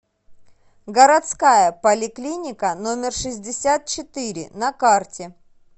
городская поликлиника номер шестьдесят четыре на карте